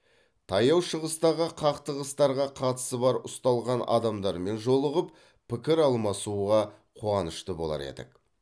таяу шығыстағы қақтығыстарға қатысы бар ұсталған адамдармен жолығып пікір алмасуға қуанышты болар едік